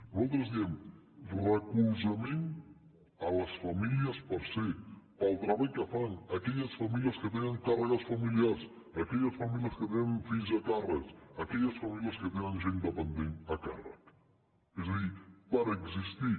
nosaltres diem suport a les famílies per ser pel treball que fan a aquelles famílies que tenen càrregues familiars aquelles famílies que tenen fills a càrrec aquelles famílies que tenen gent dependent a càrrec és a dir per existir